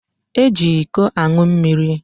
Eji iko ańụ mmiri